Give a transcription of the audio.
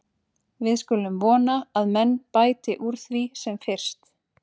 Við skulum vona að menn bæti úr því sem fyrst.